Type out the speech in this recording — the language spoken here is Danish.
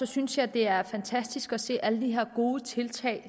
synes jeg det er fantastisk at se alle de her gode tiltag